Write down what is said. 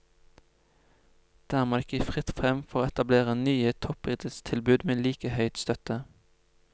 Dermed er det ikke fritt frem for å etablere nye toppidrettstilbud med like høy støtte.